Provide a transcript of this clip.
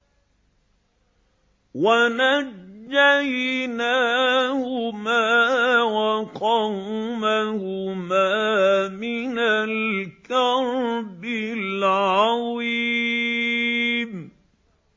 وَنَجَّيْنَاهُمَا وَقَوْمَهُمَا مِنَ الْكَرْبِ الْعَظِيمِ